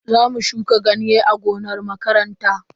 Zamu shuka ganye a gonar makaranta.